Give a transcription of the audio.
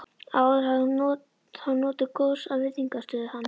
Áður hafði hún þó notið góðs af virðingarstöðu hans.